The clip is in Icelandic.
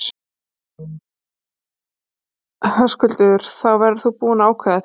Höskuldur: Þá verðurðu búinn að ákveða þig?